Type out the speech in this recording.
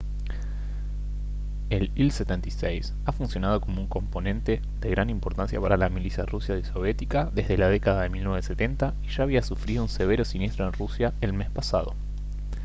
el il-76 ha funcionado como un componente de gran importancia para la milicia rusa y soviética desde la década de 1970 y ya había sufrido un severo siniestro en rusia el mes pasado